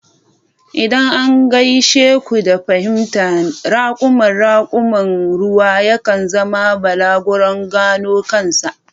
Idan an gaishe ku da fahimta, raƙuman raƙuman ruwa yakan zama balaguron gano kansa.